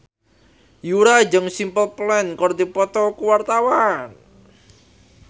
Yura jeung Simple Plan keur dipoto ku wartawan